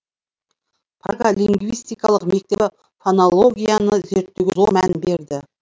прага лингвистикалық мектебі фонологияны зерттеуге зор мән берді